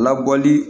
Labɔli